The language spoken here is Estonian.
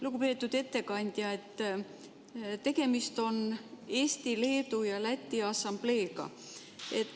Lugupeetud ettekandja, tegemist on Eesti, Leedu ja Läti assambleega.